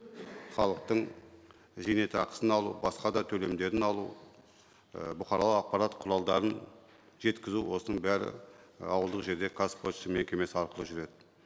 халықтың зейнетақысын алу басқа да төлемдерін алу і бұқаралық ақпарат құралдарын жеткізу осының бәрі ауылдық жерде қазпошта мекемесі арқылы жүреді